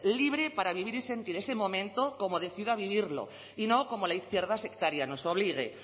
libre para vivir y sentir ese momento como decida vivirlo y no como la izquierda sectaria nos obligue